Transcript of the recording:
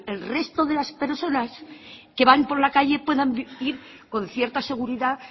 el resto de las personas que van por la calle puedan ir con cierta seguridad